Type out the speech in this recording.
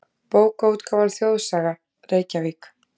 Bókaútgáfan Þjóðsaga, Reykjavík.